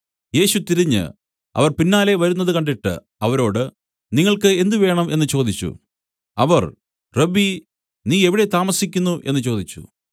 യേശു തിരിഞ്ഞു അവർ പിന്നാലെ വരുന്നത് കണ്ടിട്ട് അവരോട് നിങ്ങൾക്ക് എന്ത് വേണം എന്നു ചോദിച്ചു അവർ റബ്ബീ നീ എവിടെ താമസിക്കുന്നു എന്നു ചോദിച്ചു